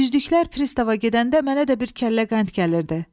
Yüzlüklər pristava gedəndə mənə də bir kəllə qənd gəlirdi.